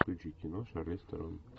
включи кино шарлиз терон